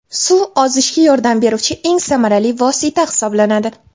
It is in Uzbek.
Suv ozishga yordam beruvchi eng samarali vosita hisoblanadi.